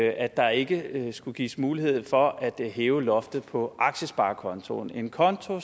at der ikke skulle gives mulighed for at hæve loftet på aktiesparekontoen en konto